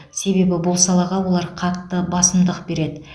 себебі бұл салаға олар қатты басымдық береді